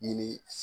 Ni